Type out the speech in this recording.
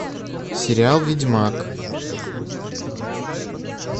сериал ведьмак